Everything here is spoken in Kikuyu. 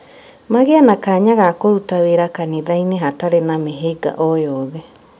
Magĩe na kanya ga kũruta wĩra kanitha-inĩ hatarĩ na mĩhĩnga o yothe